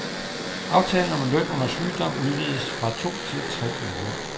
Aftalen om løn under sygdom udvides fra to til tre uger.